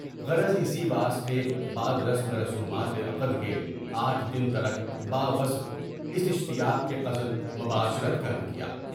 غرض اسی واسطے بعد رسم و رسومات عقد کے آٹھ دن تلاق باوصف اس اشتیاق کے قصدِ مباشرت کا نہ کیا۔